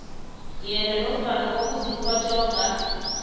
yena nofana kokuziphotjhonga